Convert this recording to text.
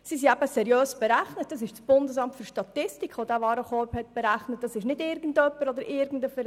Sie sind seriös berechnet, weil das BFS den Warenkorb berechnet hat und nicht irgendjemand oder irgendein Verein.